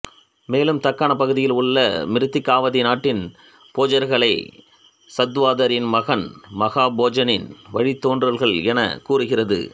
மேலும் தக்காணப் பகுதியில் உள்ள மிருத்திகாவதி நாட்டின் போஜர்களை சத்வாதரின் மகன் மகாபோஜனின் வழித்தோன்றல்கள் எனக்கூறுகிறது